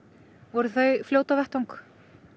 voru þau fljót á vettvang